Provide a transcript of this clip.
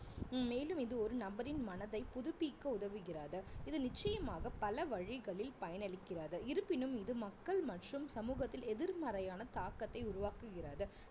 மேலும் இது ஒரு நபரின் மனதை புதுப்பிக்க உதவுகிறது இது நிச்சயமாக பல வழிகளில் பயன் அளிக்கிறது இருப்பினும் இது மக்கள் மற்றும் சமூகத்தில் எதிர்மறையான தாக்கத்தை உருவாக்குகிறது